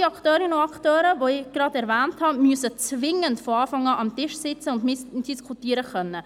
All die Akteurinnen und Akteure, die ich nun erwähnt habe, müssen zwingend von Anfang an mit am Tisch sitzen und mitdiskutieren können.